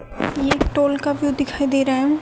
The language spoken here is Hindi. ये टोल का व्यू दिखाई दे रहा है।